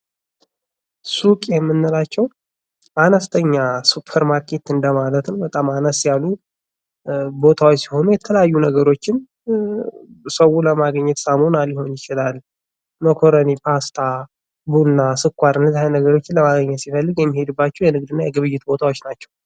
ሱቅ የምንላቸው አነስተኛ ሱፐር ማርኬትም እንደማለትም በጣም አነስ ያሉ ቦታዎች ሲሆን የተለያዩ ነገሮችን ሰው ለማግኘት ሳሙና ሊሆን ይችላል። መኮረኒ፣ ፓስታ፣ ቡና፣ ስኳር የተለያዩ ነገሮችን ለማግኘት ሲፈልጉ የሚሄዱባቸው የንግድ እና የግብይት ቦታዎች ናቸው።